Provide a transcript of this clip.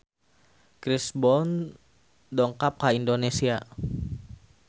Chris Brown dongkap ka Indonesia